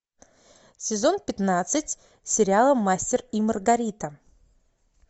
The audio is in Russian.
сезон пятнадцать сериала мастер и маргарита